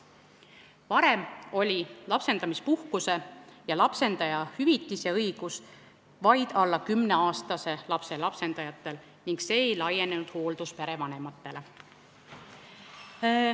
Varem oli lapsendamispuhkust ja -hüvitist õigus saada vaid alla kümneaastase lapse lapsendajatel ning see ei laienenud hoolduspere vanematele.